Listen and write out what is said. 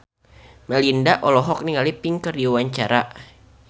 Melinda olohok ningali Pink keur diwawancara